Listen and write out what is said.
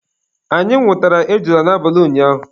Anyị nwụtara ejula n'abalị ụnyaahụ.